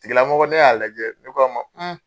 tigi lamɔgɔ ne y'a lajɛ ne ko a ma